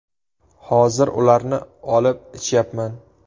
Hozir ularni olib ichyapman.